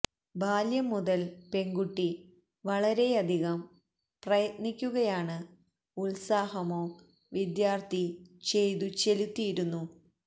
ബാല്യം മുതൽ പെൺകുട്ടി വളരെയധികം പ്രയത്നിക്കുകയാണ് ഉത്സാഹമോ വിദ്യാർത്ഥി ചെയ്തു ചെലുത്തിയിരുന്നു